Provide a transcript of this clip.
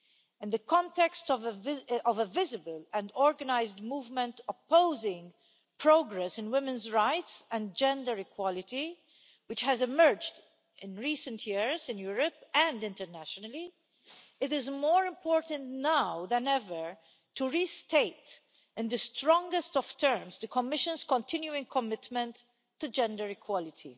In the context of a visible and organised movement opposing progress in women's rights and gender equality which has emerged in recent years in Europe and internationally, it is more important now than ever to restate in the strongest of terms the Commission's continuing commitment to gender equality.